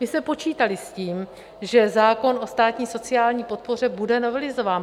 My jsme počítali s tím, že zákon o státní sociální podpoře bude novelizován.